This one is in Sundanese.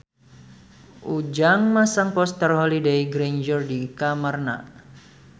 Ujang masang poster Holliday Grainger di kamarna